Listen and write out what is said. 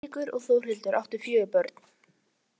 Þau Eiríkur og Þjóðhildur áttu fjögur börn.